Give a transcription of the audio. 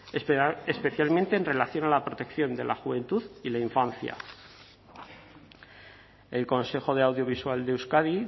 especialmente en relación a la protección de la juventud y la infancia el consejo de audiovisual de euskadi